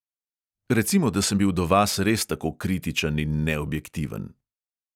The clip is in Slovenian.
Recimo, da sem bil do vas res tako kritičen in neobjektiven.